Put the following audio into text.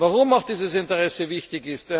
Warum ist dieses Interesse wichtig?